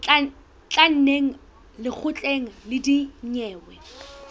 tla neng lekgotleng la dinyewe